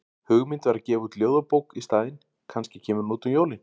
Hugmynd var að gefa út ljóðabók í staðinn, kannski kemur hún út um jólin?